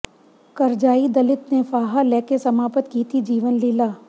ਕਰਜ਼ਾਈ ਦਲਿਤ ਨੇ ਫਾਹਾ ਲੈ ਕੇ ਸਮਾਪਤ ਕੀਤੀ ਜੀਵਨ ਲੀਲਾ